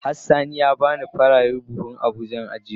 Has sani ya bani farare buhun abuja in ajiye masat.